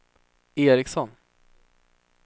Eriksson